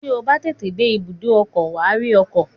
Tí o bá tètè dé ibùdó ọkọ̀, wà á rí ọkọ̀